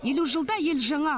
елу жылда ел жаңа